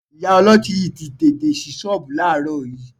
Ìyá ọlọ́tí yìí tí tètè ṣí ṣọ́ọ̀bù láàárọ̀ yìí